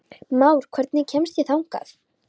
Már, hvernig kemst ég þangað?